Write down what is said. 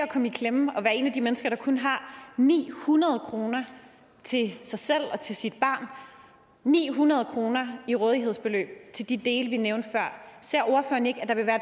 komme i klemme og være et af de mennesker der kun har ni hundrede kroner til sig selv og til sit barn ni hundrede kroner i rådighedsbeløb til de dele vi nævnte før ser ordføreren ikke at der vil være